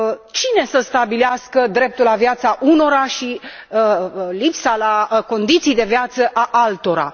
Cine să stabilească dreptul la viața unora și lipsa la condiții de viață a altora?